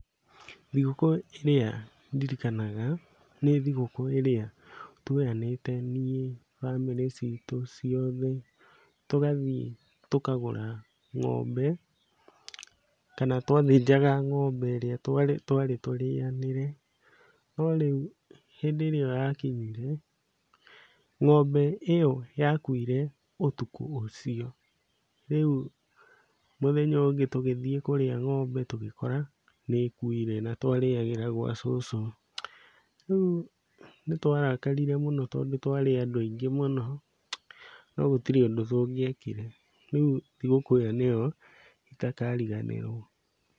Thigũkũ ĩrĩa ndirikanaga nĩ thigũkũ ĩrĩa tũoyanĩte niĩ, bamĩrĩ citũ ciothe, tũgathiĩ tũkagũra ng'ombe, kana twathĩnjaga ng'ombe ĩrĩa twarĩ tũrĩanĩre, no rĩu hĩndĩ ĩrĩa ĩyo yakinyire, ng'ombe ĩyo yakuire ũtukũ ũcio. Rĩu mũthenya ũyũ ũngĩ tũgĩthiĩ kũrĩa ng'ombe tũgĩkora nĩĩkuire na twarĩagaĩra gwa cũcũ. Rĩu nĩtwarakarire mũno tondũ twarĩ andũ aingĩ mũno, no gũtirĩ ũndũ tũngĩekire, rĩu thigũkũ ĩyo nĩyo itakariganĩrwo.